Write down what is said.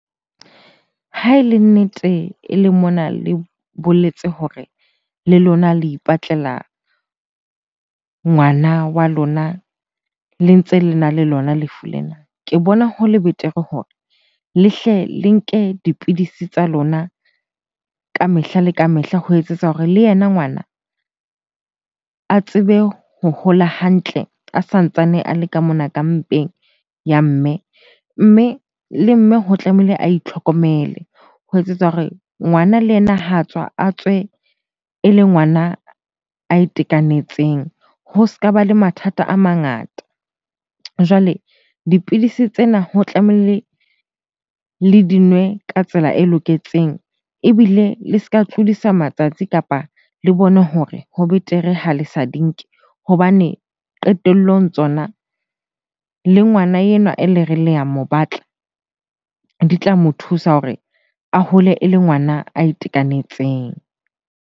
Ha e le nnete eleng mona le boletse hore le lona le ipatlela ngwana wa lona le ntse lena le lona lefu lena. Ke bona hole betere hore le hle le nke dipidisi tsa lona ka mehla le ka mehla ho etsetsa hore le yena ngwana a tsebe ho hola hantle a santsane a le ka mona ka mpeng ya mme. Mme le mme ho tlamehile a itlhokomele ho etsetsa hore ngwana le yena ha tswa, a tswe e le ngwana a itekanetseng, ho ska ba le mathata a mangata. Jwale dipidisi tsena ho tlamehile le di nwe ka tsela e loketseng ebile le ska tlodisa matsatsi kapa le bone hore ho betere ha le sa di nke. Hobane qetellong tsona le ngwana enwa e le reng le a mo batla, di tla mo thusa hore a hole e le ngwana a itekanetseng.